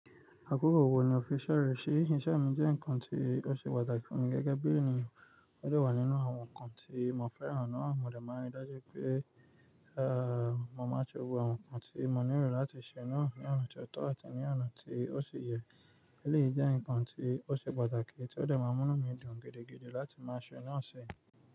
Àkókò wò ní o fi iṣẹ rẹ ṣí? Iṣẹ́ mi jẹ́ ǹkan tí ó ṣe pàtàkì fún mi gẹ́gẹ́ bí ènìyàn, ó de wà nínú àwọn ǹkan tí mo fẹ́ran ná, mo de máa n rí dájú pé, mo máa ṣe gbogbo àwọn ǹkan tí mo nílò láti ṣe náà ní ọ̀nà tó tọ́ àti ní ọ̀nà tí ó ṣi yẹ. Éléyi jẹ́ ǹkan tí ó ṣe pàtàkì tí ó dè máa múni dùn gidi láti máa ṣe náà ṣi.